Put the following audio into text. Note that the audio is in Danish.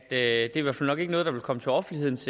det er jo nok ikke noget der vil komme til offentlighedens